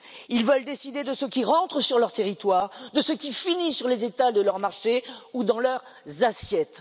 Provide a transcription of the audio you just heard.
Ils veulent décider de ce qui rentre sur leur territoire, de ce qui finit sur les étals de leur marché ou dans leur assiette.